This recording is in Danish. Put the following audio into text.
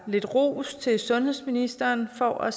lidt ros til sundhedsministeren for at